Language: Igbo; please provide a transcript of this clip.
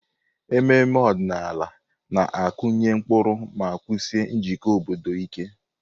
Ememe ọdịnala na-akụnye ụkpụrụ ma wusie njikọ obodo ike.